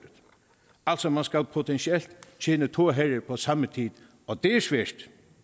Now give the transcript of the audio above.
altså man skal potentielt tjene to herrer på samme tid og det er svært